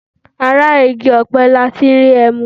Ara igi ọ̀pẹ ní a tí n rí ẹmu.